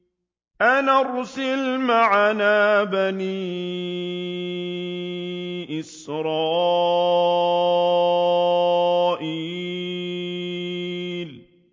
أَنْ أَرْسِلْ مَعَنَا بَنِي إِسْرَائِيلَ